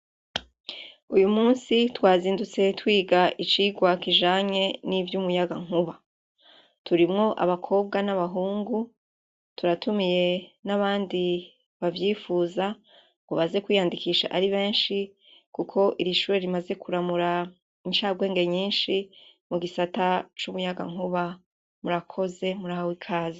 Uyumusi twazindutse twiga icigwa kicanye n'ivyumuyagankuba. Turimwo abakobwa na bahungu , turatumiye nabandi bavyifuza ngo baze kwiyandikisha ari benshi kuko irishure rimaze kuramura incabwenge nyishi mugisata cumuyagankuba ; murakoze murahawe ikaze.